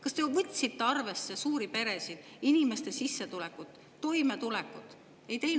Kas te võtsite arvesse suuri peresid, inimeste sissetulekut ja toimetulekut?